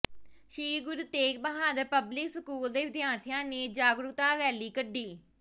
ਸ੍ਰੀ Guru Tegh Bahadur public school ਦੇ ਵਿਦਿਆਰਥੀਆਂ ਨੇ ਜਾਗਰੂਕਤਾ ਰੈਲੀ ਕੱਢੀ